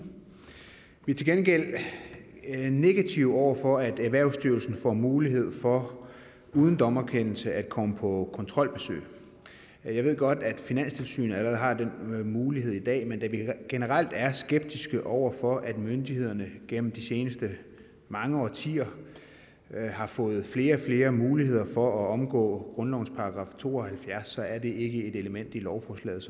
vi er til gengæld negativt stemt over for at erhvervsstyrelsen får mulighed for uden dommerkendelse at komme på kontrolbesøg jeg ved godt at finanstilsynet allerede har den mulighed i dag men da vi generelt er skeptiske over for at myndighederne gennem de seneste mange årtier har fået flere og flere muligheder for at omgå grundlovens § to og halvfjerds er det ikke et element i lovforslaget